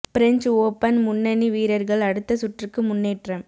French open முன்னணி வீரர்கள் அடுத்த சுற்றுக்கு முன்னேற்றம்